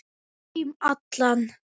Um heim allan.